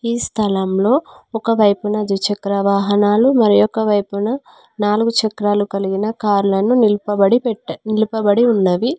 ఈ స్థలంలో ఒకవైపున ద్విచక్ర వాహనాలు మరియొక వైపున నాలుగు చక్రాలు కలిగిన కార్లను నిలుపబడి పెట్టే నిలుపబడి ఉన్నవి.